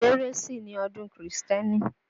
Kérésì ni ọdún kírísítẹ̀nì